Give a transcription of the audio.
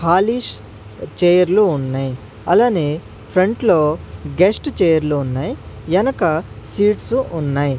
Polish చైర్లు ఉన్నై అలానే ఫ్రంట్ లో గెస్ట్ చైర్లు ఉన్నై ఎనక సీట్సు ఉన్నై.